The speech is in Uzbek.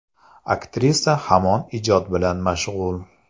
Aktrisa hamon ijod bilan mashg‘ul.